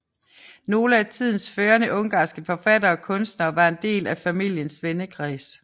Nogle af tidens førende ungarske forfattere og kunstnere var en del af familiens vennekreds